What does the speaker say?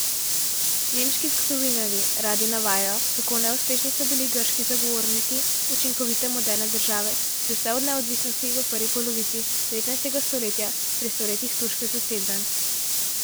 Nemški zgodovinarji radi navajajo, kako neuspešni so bili grški zagovorniki učinkovite moderne države že vse od neodvisnosti v prvi polovici devetnajstega stoletja po stoletjih turške zasedbe.